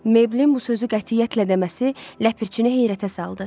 Meybəlin bu sözü qətiyyətlə deməsi ləpirçini heyrətə saldı.